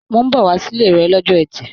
Mó n bọ wá sile rẹ l'ọjọ́ ẹtì.